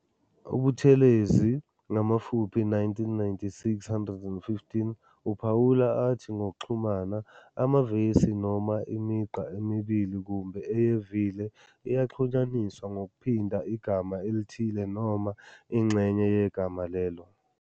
UButhelezi, 1996, 115, uphawula athi ngokuxhumana, "Amavesi noma imigqa emibili kumbe eyevile iyaxhunyaniswa ngokuphinda igama elithile noma ingxenye yegama lelo.